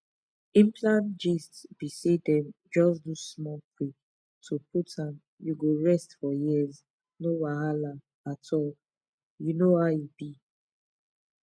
implant gist be saydem just do small prick to put m you go rest for years no wahala at all you know how e b